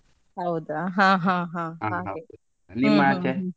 ಹೌದಾ ಹಾ ಹಾ ಹಾ ಹಾಗೆ.